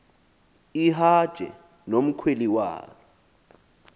ihaje nomkhweli walo